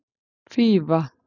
Fífa